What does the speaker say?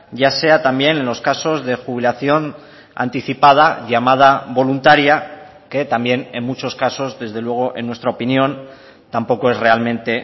ya sea también los casos de jubilación anticipada llamada voluntaria que también en muchos casos desde luego en nuestra opinión tampoco es realmente